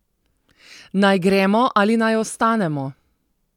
Naj gremo ali naj ostanemo?